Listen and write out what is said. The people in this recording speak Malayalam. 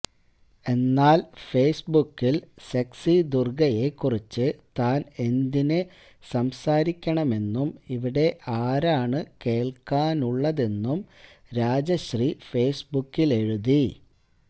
എന്നാല് ഫെയ്സ്ബുക്കില് സെക്സി ദുര്ഗയെ കുറിച്ച് താന് എന്തിന് സംസാരിക്കണമെന്നും ഇവിടെ ആരാണ് കേള്ക്കാനുള്ളതെന്നും രാജശ്രീ ഫെയ്സ്ബുക്കിലെഴുതി